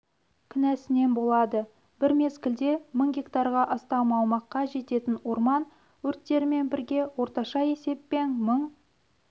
кінәсінен болады бір мезгілде мың гектарға астам аумаққа жететін орман өрттерімен бірге орташа есеппен мың